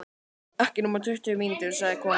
Ekki nema tuttugu mínútur, sagði konan.